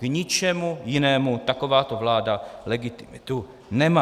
K ničemu jinému takováto vláda legitimitu nemá.